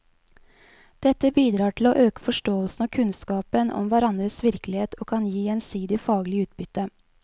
Dette bidrar til å øke forståelsen og kunnskapen om hverandres virkelighet og kan gi gjensidig faglig utbytte.